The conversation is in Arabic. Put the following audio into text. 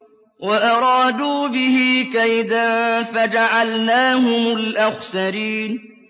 وَأَرَادُوا بِهِ كَيْدًا فَجَعَلْنَاهُمُ الْأَخْسَرِينَ